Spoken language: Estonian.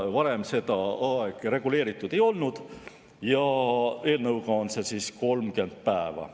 Varem seda aega reguleeritud ei olnud, selle eelnõu järgi on see 30 päeva.